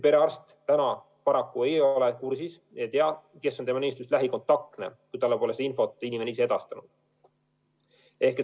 Perearst aga praegu paraku ei ole kursis ega tea, kes on tema nimistust lähikontaktne, kui inimene ise pole talle seda infot edastanud.